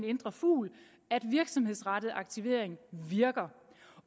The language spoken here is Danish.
indre fugl at virksomhedsrettet aktivering virker